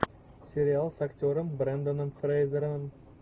сериал с актером бренданом фрейзером